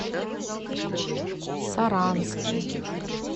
саранске